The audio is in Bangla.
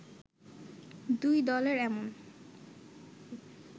দুই দলের এমন